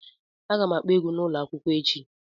Aga m akpọ egwu a n'ụlọ akwụkwọ echi